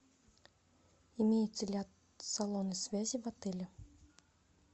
имеются ли салоны связи в отеле